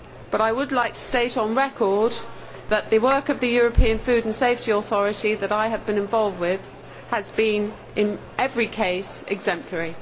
But I would like to state on record that the work of the European Food and Safety Authority that I have been involved with has been in every case exemplary.